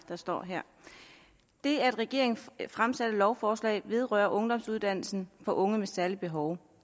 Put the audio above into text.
der står her det af regeringen fremsatte lovforslag vedrører ungdomsuddannelsen for unge med særlige behov